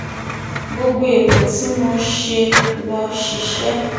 gbogbo ètò tí mo ṣe ló ṣiṣẹ́